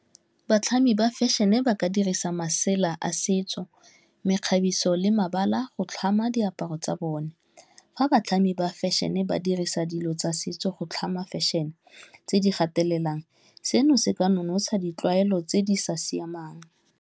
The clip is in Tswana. Batlhami ba fashion-e ba ka dirisa masela a setso, mekgabiso le mabala go tlhama diaparo tsa bone. Fa batlhami ba fashion-e ba dirisa dilo tsa setso go tlhama fashion-e, tse di gatelelang, seno se ka nonotsha ditlwaelo tse di sa siamang.